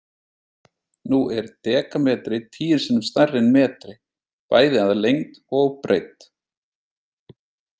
Nú er dekametri tíu sinnum stærri en metri, bæði að lengd og breidd.